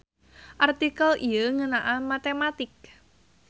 Artikel ieu ngeunaan matematik.